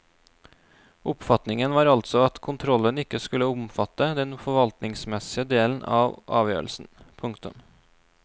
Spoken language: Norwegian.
Oppfatningen var altså at kontrollen ikke skulle omfatte den forvaltningsmessige delen av avgjørelsen. punktum